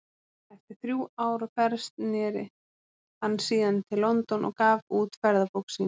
Eftir þrjú ár á ferð sneri hann síðan til London og gaf út ferðabók sína.